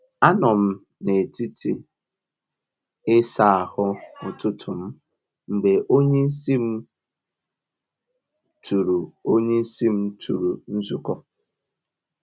A m nọ n’etiti isa ahu ụtụtụ m mgbe onyeisi m tụrụ onyeisi m tụrụ nzukọ